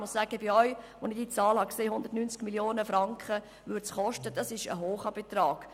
Ja, 190 Mio. Franken, das ist ein grosser Betrag.